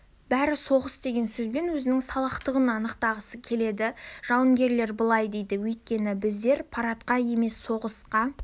бәрі соғыс деген сөзбен өзінің салақтығын ақтағысы келеді жауынгерлер былай дейді өйткені біздер парадқа емес соғысқа